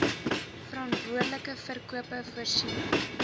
verantwoordelike verkope voorsiening